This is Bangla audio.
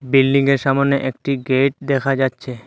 বিল্ডিং -এর সামোনে একটি গেট দেখা যাচ্ছে।